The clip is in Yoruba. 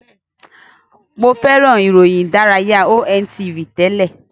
Mo fẹ́ràn ìròyìn ìdánilárayá Ontv tẹ́lẹ̀.